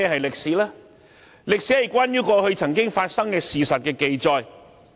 歷史是關於過去曾經發生的事實的記載。